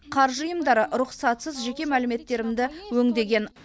қаржы ұйымдары рұқсатсыз жеке мәліметтерімді өңдеген